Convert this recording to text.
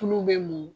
Tulu bɛ mun